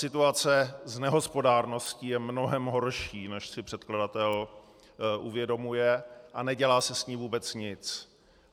Situace s nehospodárností je mnohem horší, než si předkladatel uvědomuje, a nedělá se s ní vůbec nic.